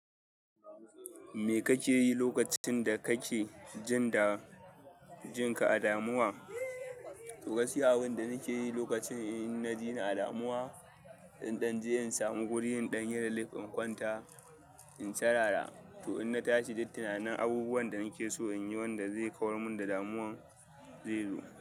Me kake yi lokacin da kake jin da jinka a damuwa? To, wasu yawon da nake yi lokacin in na ji ni a damuwa, in ɗan je in samu gurin ɗan rilif in kwanta in tarara. To in na tashi, duk tunanin abubuwan da nake so in yi, wanda zai kawar min da damuwan, zai zo.